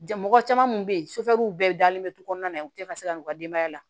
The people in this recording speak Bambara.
Jan mɔgɔ caman kun be yen bɛɛ dalen bɛ du kɔnɔna na u tɛ ka se ka n'u ka denbaya la